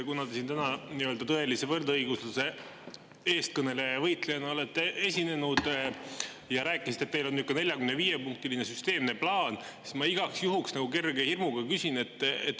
Kuna te siin täna tõelise võrdõigusluse eestkõneleja ja eestvõitlejana olete esinenud ja rääkisite, et teil on selline 45-punktiline süsteemne plaan, siis ma igaks juhuks nagu kerge hirmuga küsin.